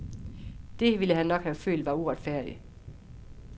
Det, ville han nok have følt, var uretfærdigt.